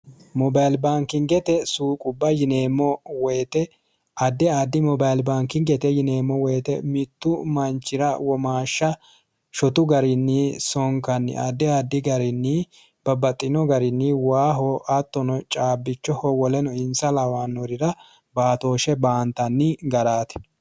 Mobile baankubbate suuqubba yineemmo woyte addi addi mobile baankingete yineemmo woyte mitu manchira womaasha shotu garinni sonkaniha addi addi garinni babbaxinoha waaho cabbichoho woleno hintsa lawanorira baattoshe baantanni garati.